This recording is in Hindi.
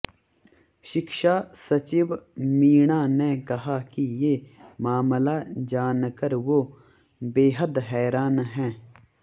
शिक्षा सचिव मीणा ने कहा कि ये मामला जानकर वो बेहद हैरान हैं